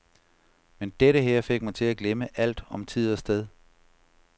Men dette her fik mig til at glemme alt om tid og sted.